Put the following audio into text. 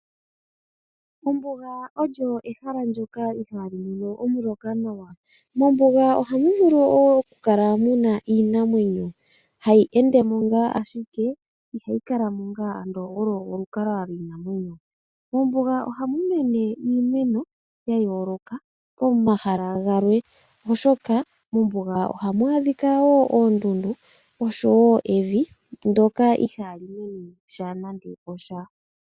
Ombuga olyo ehala ndyoka ihaali mono omuloka nawa. Mombuga ohamu vulu okukala mu na iinamwenyo hayi ende mo owala, ashike ihayi kala mo onga omo molukalwa lwayo. Mombuga ohamu mene iimeno ya yooloka pomahala galwe, oshoka mombuga ohamu adhika oondundu noshowo evi ndyoka ihaali mene nando osha.